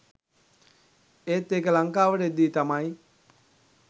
ඒත් ඒක ලංකාවට එද්දි තමයි